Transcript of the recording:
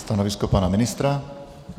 Stanovisko pana ministra?